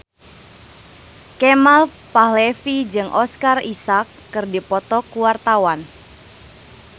Kemal Palevi jeung Oscar Isaac keur dipoto ku wartawan